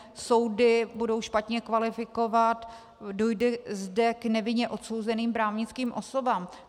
Soudy budou špatně kvalifikovat, dojde zde k nevinně odsouzeným právnickým osobám.